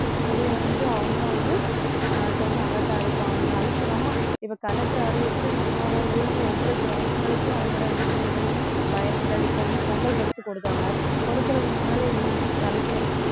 தெரிய வந்து அவங்களும் வந்து அஹ் கொஞ்சம் alert ஆ இருப்பாங்க அதுக்கு நம்ம இப்ப collector அறிவிச்சு நம்மளோட ஊருக்கு ஒவ்வொரு கிராமங்களுக்கும் அதனோட நன்மைகள் பயன்கள் இப்ப வந்து பொங்கல் பரிசு கொடுத்தாங்க கொடுக்குறதுக்கு முன்னால என்ன ஆச்சு collector உ